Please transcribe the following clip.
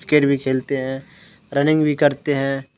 खेलते हैं रनिंग भी करते हैं।